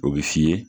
O bɛ f'i ye